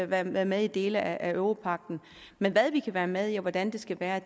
være med med i dele af europagten men hvad vi kan være med i og hvordan det skal være